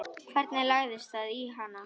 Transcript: Hvernig lagðist það í hana?